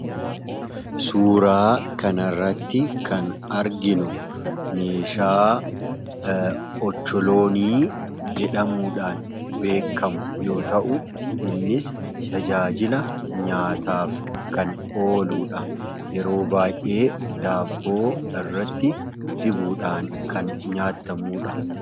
suuraa kanarratti kan arginu meeshaa ocholoonii jedhamuudhan kan beekamu yoo ta'u innis tajaajila nyaataaf kan oludha yeroo baay'ee daabboo irratti Dibuudhaan kan nyaatamuudha.